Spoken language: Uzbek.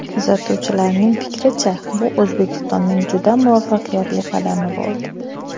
Kuzatuvchilarning fikricha, bu O‘zbekistonning juda muvaffaqiyatli qadami bo‘ldi.